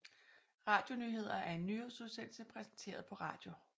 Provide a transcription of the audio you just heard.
Radionyheder er en nyhedsudsendelse præsenteret på radio